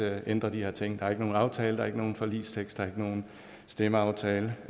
at ændre de her ting der er ikke nogen aftale der er ikke nogen forligstekst der er ikke nogen stemmeaftale